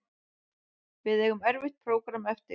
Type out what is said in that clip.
Við eigum erfitt prógramm eftir